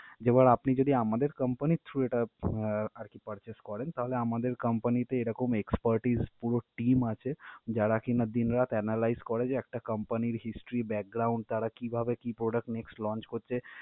এবার আপনি যদি আমাদের company র through এটা আহ আরকি purchase করেন তাহলে আমাদের company তে এরকম expertise পুরো team আছে, যারা কিনা দিন রাত analyze করে যে একটা company র history তারা কিভাবে কী product next launch করছে।